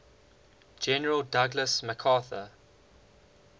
general douglas macarthur